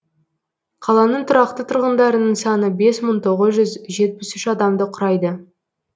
қаланың тұрақты тұрғындарының саны бес мың тоғыз жүз жетпіс адамды құрайды